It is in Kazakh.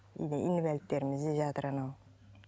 үйде инвалидтеріміз де жатыр анау